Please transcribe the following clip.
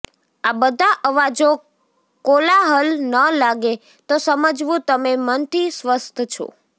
આ બધા અવાજો કોલાહલ ન લાગે તો સમજવું તમે મનથી સ્વસ્થ છો